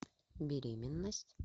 беременность